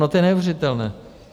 No to je neuvěřitelné.